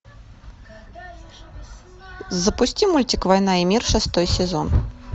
запусти мультик война и мир шестой сезон